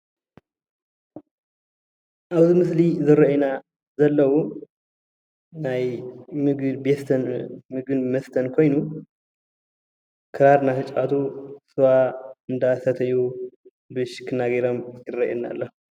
ኣብዚ ምስሊ ዝሮኦይና ዘለው ናይ ምግብን መሦተን ኾይኑ ኽራር እናተፃወቱ ሰዋ እናሰተዪ ብሽክና ጌሮም ይረአየና ኣሎ።